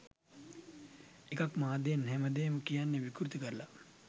එකක්‌ මාධ්‍යයෙන් හැම දේම කියන්නෙ විකෘති කරලා